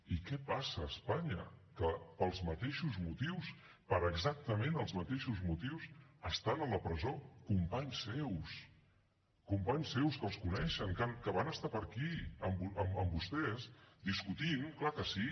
i què passa a espanya que pels mateixos motius per exactament els mateixos motius estan a la presó companys seus companys seus que els coneixen que van estar per aquí amb vostès discutint clar que sí